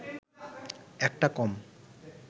একটা কম